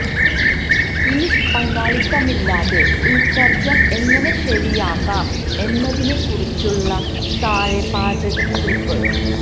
yeast പങ്കാളിത്തമില്ലാതെ ഉൽസർജനം എങ്ങനെ ശരിയാക്കാം എന്നതിനെ കുറിച്ചുള്ള താഴെ പാചകക്കുറിപ്പ്